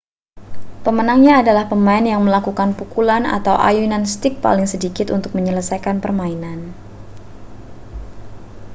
pemenangnya adalah pemain yang melakukan pukulan atau ayunan stik paling sedikit untuk menyelesaikan permainan